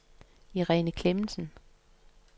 Irene Clemmensen